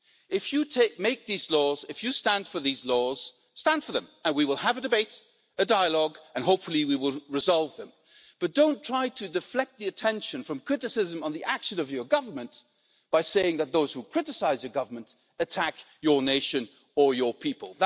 If you make these laws and if you stand for these laws, stand for them, and we will have a debate and dialogue and hopefully we will resolve them, but don't try to deflect attention from criticism about the actions of your Government by saying that those who criticise the Government attack your nation or your people.